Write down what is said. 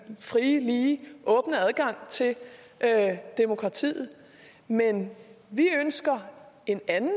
frie lige og åbne adgang til demokratiet men vi ønsker en anden